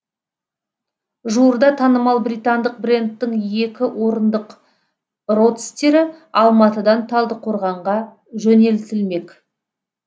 жуырда танымал британдық брендтің екі орындық родстері алматыдан талдықорғанға жөнелтілмек